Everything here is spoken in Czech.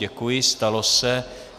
Děkuji, stalo se.